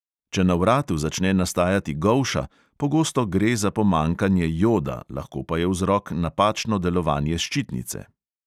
Če na vratu začne nastajati golša, pogosto gre za pomanjkanje joda, lahko pa je vzrok napačno delovanje ščitnice.